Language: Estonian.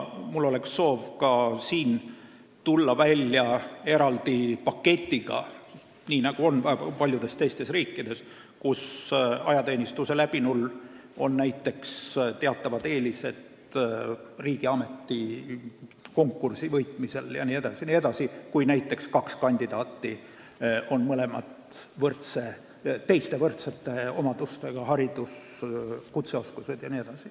Mul on soov tulla välja ka eraldi paketiga, nii nagu on paljudes teistes riikides, kus ajateenistuse läbinul on näiteks teatavad eelised riigiameti konkursi võitmisel, kui kaks kandidaati on teistelt omadustelt võrdsed .